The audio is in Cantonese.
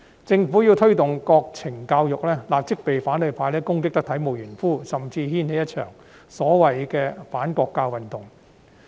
政府要推動國民教育，便立即會被反對派攻擊得體無完膚，甚至掀起一場所謂的反國教運動。